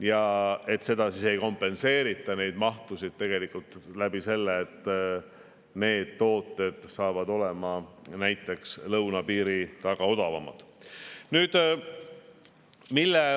Ja et neid mahtusid ei kompenseerita näiteks sellega, et needsamad tooted hakkavad olema lõunapiiri taga odavamad.